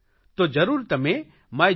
તો જરૂર તમે માયગોવ